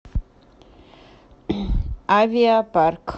авиапарк